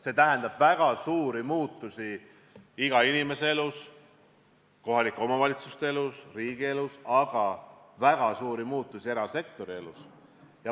See tähendab väga suuri muutusi iga inimese elus, kohalike omavalitsuste elus, riigi elus, aga väga suuri muutusi ka erasektori elus.